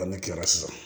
ne kilala sisan